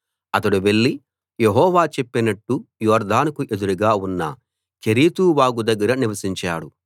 అతడు వెళ్లి యెహోవా చెప్పినట్టు యొర్దానుకు ఎదురుగా ఉన్న కెరీతు వాగు దగ్గర నివసించాడు